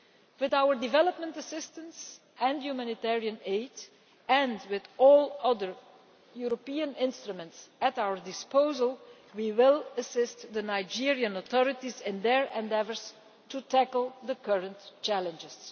With our development assistance and humanitarian aid, and with all other European instruments at our disposal, we will assist the Nigerian authorities in their endeavours to tackle the current challenges.